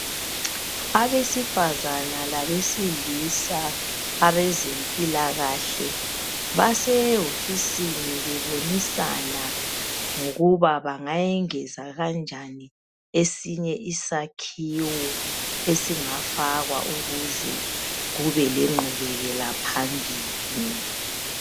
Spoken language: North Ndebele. Abesifazana labesilisa abezempilakahle basewofisini bebonisana ngokuba bangayengeza kanjani esinye isakhiwo esingafakwa ukuze kubelengqubekela phambili